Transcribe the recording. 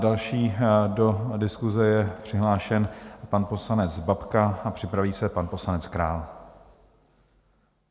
Další do diskuse je přihlášen pan poslanec Babka a připraví se pan poslanec Král.